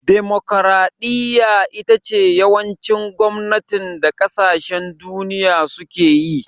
Demokaraɗiya ce yawancin gwamnatin da kasashen duniya suke yi